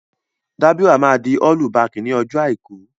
Dábírà máa di ọ́lú bakì ní ọjọ́ Àìkú.